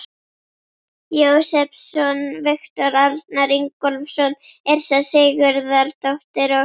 Jósepsson, Viktor Arnar Ingólfsson, Yrsa Sigurðardóttir og